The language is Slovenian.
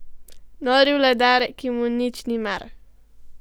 Nori vladar, ki mu nič ni mar.